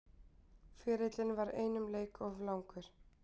Ferillinn var einum leik of langur